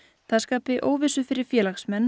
það skapi óvissu fyrir félagsmenn